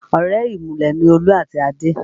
Ọ̀rẹ́ ìmùlẹ̀ ni Olú àti Adé